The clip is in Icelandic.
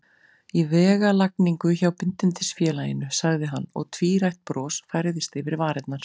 Í vegalagningu hjá Bindindisfélaginu, sagði hann, og tvírætt bros færðist yfir varirnar.